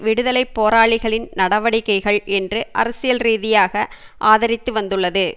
விடுதலை போராளிகளின் நடவடிக்களகள் என்று அரசியல் ரீதியாக ஆதரித்து வந்துள்ளது